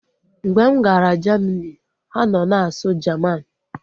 Mgbe m gara Jamini, ha nọ na-asụ Jaman